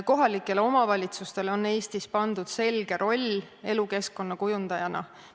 Kohalikele omavalitsustele on Eestis pandud selge roll elukeskkonna kujundajana.